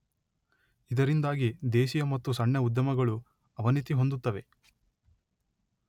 ಇದರಿಂದಾಗಿ ದೇಶೀಯ ಮತ್ತು ಸಣ್ಣ ಉದ್ಯಮಗಳು ಅವನತಿ ಹೊಂದುತ್ತವೆ.